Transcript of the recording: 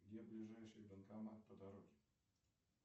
где ближайший банкомат по дороге